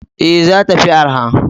Ee, za ta fi arha.